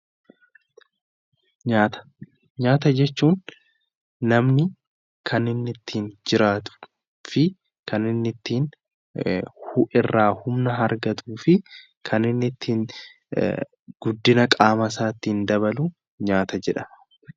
Nyaata, nyaata jechuun namni kanniinni ittin jiraatudhafi kanniinni irraa humna argatufi kanniinni ittiin guddina qaama isaatiin dhabaluu nyaata jedhama.